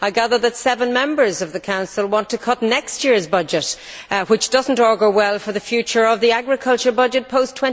I gather that seven members of the Council want to cut next year's budget, which does not augur well for the future of the agriculture budget post